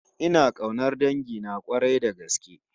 Ina kaunar dangina k'warai da gaske